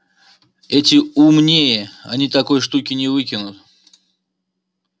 эти умнее они такой штуки не выкинут